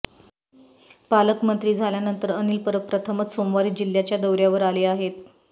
पालक मंत्री झाल्यानंतर अनिल परब प्रथमच सोमवारी जिल्ह्याच्या दौऱ्यावर आले आहेत